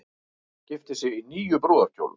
Gifti sig í níu brúðarkjólum